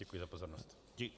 Děkuji za pozornost.